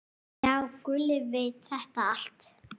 Já, Gulli veit þetta allt.